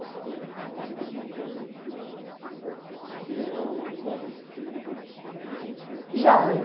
Você lembra de alguma coisa que já aconteceu? de jeito diferente Já